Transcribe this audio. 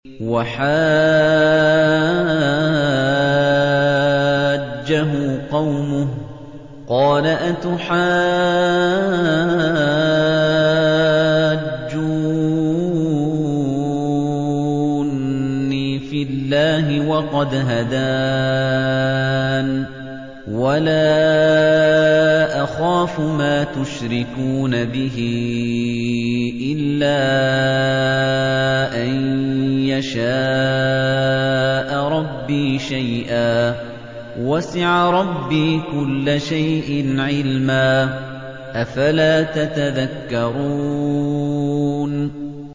وَحَاجَّهُ قَوْمُهُ ۚ قَالَ أَتُحَاجُّونِّي فِي اللَّهِ وَقَدْ هَدَانِ ۚ وَلَا أَخَافُ مَا تُشْرِكُونَ بِهِ إِلَّا أَن يَشَاءَ رَبِّي شَيْئًا ۗ وَسِعَ رَبِّي كُلَّ شَيْءٍ عِلْمًا ۗ أَفَلَا تَتَذَكَّرُونَ